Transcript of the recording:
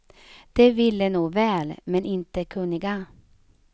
De ville nog väl, men är inte kunniga.